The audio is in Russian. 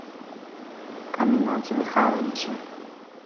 аминате михайловиче